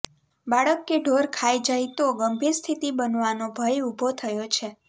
બાળક કે ઢોર ખાઇ જાય તો ગંભીર સ્થિતિ બનવાનો ભય ઉભો થયો છે